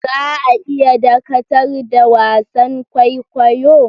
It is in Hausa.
Za a iya dakatar da wasan kwaikwayo?